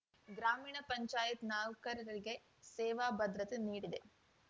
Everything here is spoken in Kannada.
ಗ್ರಾಮೀಣ ಪಂಚಾಯಿತಿ ನೌಕರರಿಗೆ ಸೇವಾ ಭದ್ರತೆ ನೀಡಿದೆ